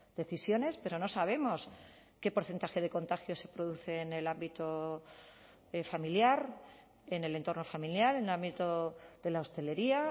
decisiones pero no sabemos qué porcentaje de contagios se produce en el ámbito familiar en el entorno familiar en el ámbito de la hostelería